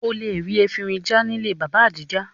O lè rí efinrin já nílé Bàbá Adija